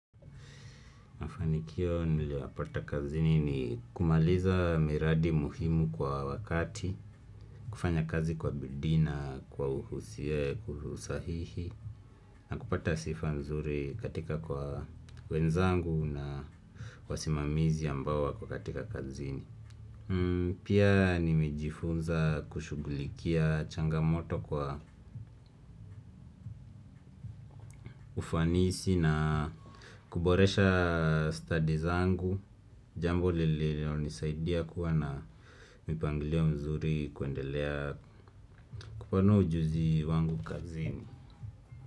Mafanikio niliyapata kazini ni kumaliza miradi muhimu kwa wakati, kufanya kazi kwa bidii na, kwa uhusie, kuhusahihi, na kupata sifa nzuri katika kwa wenzangu na wasimamizi ambao wako katika kazini. Pia nimejifunza kushugulikia changamoto kwa ufanisi na kuboresha stadi zangu. Jambo lililonisaidia kuwa na mipangilio mzuri kuendelea kupanua ujuzi wangu kazini.